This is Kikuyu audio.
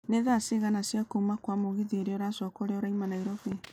nĩ thaa cigana cĩa kuuma Kwa mũgithi uria ũracoka ũria ũrauma nairobi